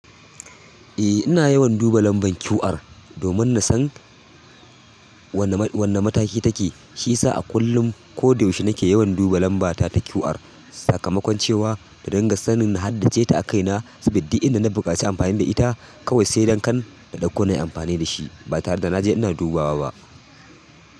Eh ina yawan duba lambar QR domin na san wane mataki take. Shiyasa a kullum ko da yaushe nake yawan duba lambata ta QR sakamakon cewa da dinga sanin na haddace ta a kaina, sabida da duk inda na buƙaci amfani da ita kawai, sai dan kan da ɗauko nayi amfani da shi ba tare da na je ina dubawa ba.